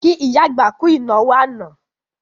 Kí ìyá àgbà kú ìnáwó àná